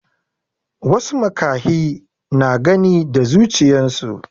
wasu makahi na Gani da zuchiyansu